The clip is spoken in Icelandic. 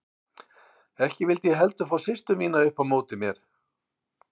Ekki vildi ég heldur fá systur mínar upp á móti mér.